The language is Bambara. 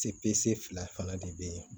Se fila fana de bɛ yen